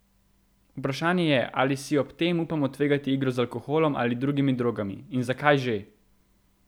Vprašanje je, ali si ob tem upamo tvegati igro z alkoholom ali drugimi drogami in zakaj že?